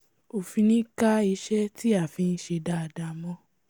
ò fi ní ká iṣẹ́ tí a ń fi ṣe dáadáa mọ́n